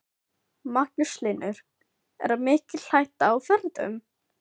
Magnús Hlynur: Er mikil hætta á ferðum?